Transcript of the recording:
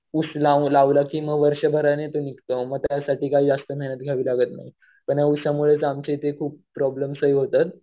ऊस लावला की आणि वर्षभराने तो निघतो. मग त्यासाठी काही जास्त मेहनत घ्यावी लागत नाही. पण ऊसामुळे आमच्या इथे खूप प्रॉब्लम्स ही होतात.